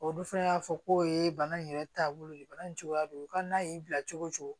Olu fɛnɛ y'a fɔ ko ye bana in yɛrɛ taabolo ye bana in cogoya don u ka n'a y'i bila cogo o cogo